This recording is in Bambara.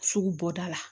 Sugu bɔda la